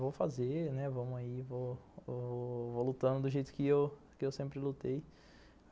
Vou fazer, né, vou lutando do jeito que eu sempre lutei.